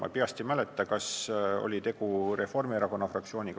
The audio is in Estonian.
Ma peast ei mäleta, kas vastu oli Reformierakonna fraktsioon.